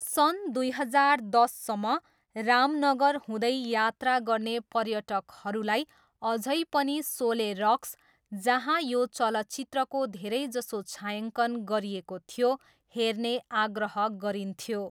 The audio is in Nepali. सन् दुई हजार दससम्म, रामनगर हुँदै यात्रा गर्ने पर्यटकहरूलाई अझै पनि सोले रक्स, जहाँ यो चलचित्रको धेरैजसो छायाङ्कन गरिएको थियो, हेर्ने आग्रह गरिन्थ्यो।